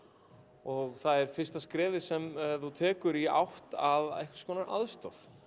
og það er fyrsta skrefið sem þú tekur í átt að einhvers konar aðstoð